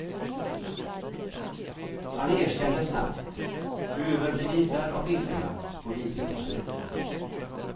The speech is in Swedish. Han erkände snabbt, överbevisad av bilderna på videokassetten.